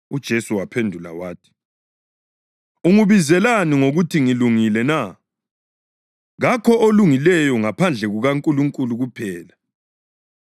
UJesu waphendula wathi, “Ungibizelani ngokuthi ngilungile na? Kakho olungileyo ngaphandle kukaNkulunkulu kuphela.